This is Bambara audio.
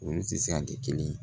U sisan tɛ kelen ye